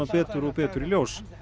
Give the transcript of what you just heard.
betur og betur í ljós